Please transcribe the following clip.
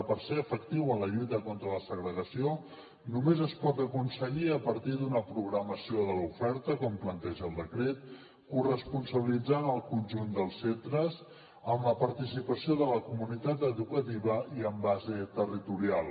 per ser efectiu en la lluita contra la segregació només es pot aconseguir a partir d’una programació de l’oferta com planteja el decret corresponsabilitzant el conjunt dels centres amb la participació de la comunitat educativa i amb base territorial